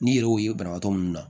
N'i yɛrɛ y'o ye banabaatɔ minnu na